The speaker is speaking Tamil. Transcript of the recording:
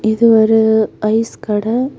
இது ஒரு ஐஸ் கட.